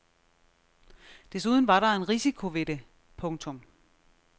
Desuden var der en risiko ved det. punktum